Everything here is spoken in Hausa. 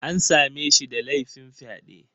An same shi da laifin fyaɗe